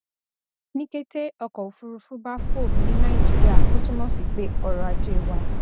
ní kété ọkọ òfúrufú bá fò ní nàìjíría ó túmọ sí pé ọrọajé wà